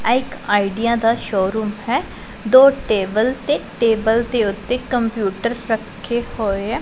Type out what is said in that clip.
ਇਕ ਆਈਡੀਆ ਦਾ ਸ਼ੋਰੂਮ ਹੈ ਦੋ ਟੇਬਲ ਤੇ ਟੇਬਲ ਦੇ ਉੱਤੇ ਕੰਪਿਊਟਰ ਰੱਖੇ ਹੋਏ ਆ।